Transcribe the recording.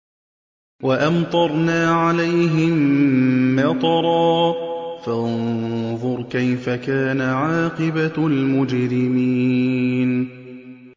وَأَمْطَرْنَا عَلَيْهِم مَّطَرًا ۖ فَانظُرْ كَيْفَ كَانَ عَاقِبَةُ الْمُجْرِمِينَ